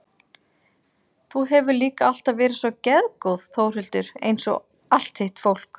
Þú hefur líka alltaf verið svo geðgóð Þórhildur einsog allt þitt fólk.